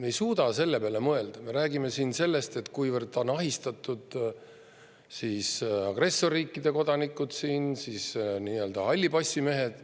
Me ei suuda selle peale mõelda, vaid räägime sellest, kuivõrd ahistatud on siin agressorriikide kodanikud ja nii-öelda hallipassimehed.